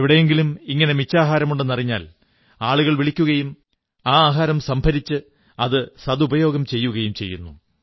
എവിടെയെങ്കിലും ഇങ്ങനെ മിച്ചാഹാരമുണ്ടെന്നറിഞ്ഞാൽ ആളുകൾ വിളിക്കുകയും ആ ആഹാരം സംഭരിച്ച് അത് നല്ലരീതിയിൽ ഉപയോഗിക്കുകയും ചെയ്യുകയും ചെയ്യുന്നു